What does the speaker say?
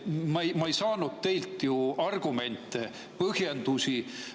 Ma ei saanud teilt ju argumente, põhjendusi.